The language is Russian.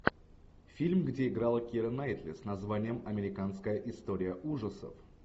фильм где играла кира найтли с названием американская история ужасов